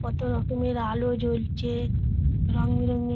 কতো রকমের আলো জ্বলছে রং বে রং এর |